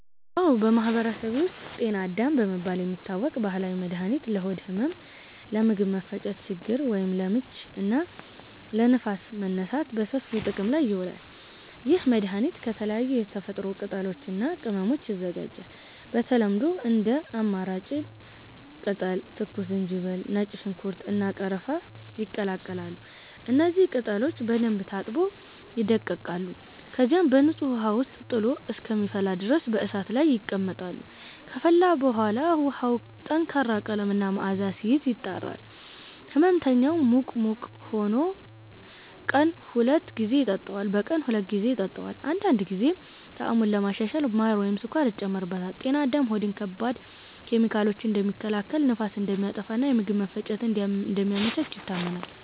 አዎ፣ በማህበረሰቤ ውስጥ “ጤና አዳም” በመባል የሚታወቅ ባህላዊ መድኃኒት ለሆድ ህመም፣ ለምግብ መፈጨት ችግር (ለምች) እና ለንፋስ መነሳት በሰፊው ጥቅም ላይ ይውላል። ይህ መድኃኒት ከተለያዩ የተፈጥሮ ቅጠሎች እና ቅመሞች ይዘጋጃል። በተለምዶ እንደ አማራም ቅጠል፣ ትኩስ ዝንጅብል፣ ነጭ ሽንኩርት፣ እና ቀረፋ ይቀላቀላሉ። እነዚህ ቅጠሎች በደንብ ታጥበው ይደቀቃሉ፣ ከዚያም በንጹህ ውሃ ውስጥ ጥሎ እስከሚፈላ ድረስ በእሳት ላይ ይቀመጣሉ። ከፈላ በኋላ ውሃው ጠንካራ ቀለም እና መዓዛ ሲይዝ፣ ይጣራል። ሕመምተኛው ሙቅ ሙቅ ሆኖ ቀን ሁለት ጊዜ ይጠጣዋል። አንዳንድ ጊዜ ጣዕሙን ለማሻሻል ማር ወይም ስኳር ይጨመርበታል። “ጤና አዳም” ሆድን ከባድ ኬሚካሎች እንደሚከላከል፣ ንፋስን እንደሚያጠፋ እና የምግብ መፈጨትን እንደሚያመቻች ይታመናል።